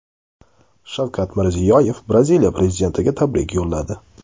Shavkat Mirziyoyev Braziliya prezidentiga tabrik yo‘lladi.